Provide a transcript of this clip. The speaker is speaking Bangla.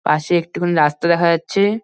পাশে একটুখানি রাস্তা দেখা যাচ্ছে-এ।